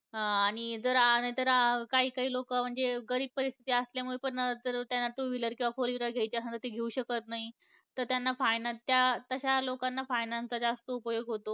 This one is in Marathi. अं आणि जर आणि अं काही काही लोकं म्हणजे गरीब परिस्थिती असल्यामुळे पण जर त्यांना two wheeler किंवा four wheeler घ्यायची असन, तर ते घेऊ शकत नाही, तर त्यांना finance त्या तशा लोकांना finance चा जास्त उपयोग होतो.